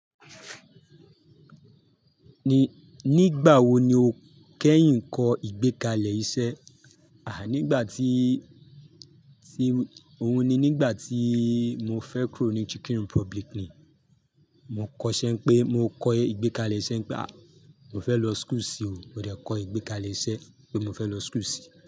Nígbà wo ni o kẹ́yìn kọ ìgbékalẹ̀ iṣẹ́? À, nígbà tí, tí, òun ni nígbà tíì mo fẹ́ kúrò ní Chicken Republic ni. Mo kọ iṣẹ́ n pé mo kọ ìgbékalẹ̀ iṣẹ́ n pé à, mo fẹ́ lọ school sí i o. Mo dẹ̀ kọ ìgbékalẹ̀ iṣẹ́ pé mo fẹ́ lọ school sí.